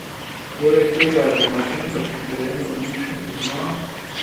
Poleg tega je domačinka, ki teren odlično pozna.